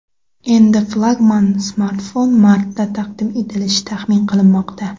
Endi flagman smartfon martda taqdim etilishi taxmin qilinmoqda.